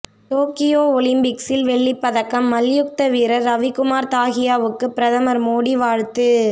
Tokyo ஒலிம்பிக்ஸில் வெள்ளிப் பதக்கம் மல்யுத்த வீரர் ரவிக்குமார் தாஹியாவுக்கு பிரதமர் மோடி வாழ்த்து